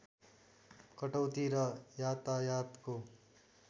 कटौती र यातायातको